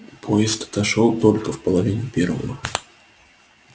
поезд отошёл только в половине первого